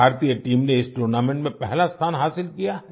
भारतीय टीम ने इस टूर्नामेंट में पहला स्थान हासिल किया है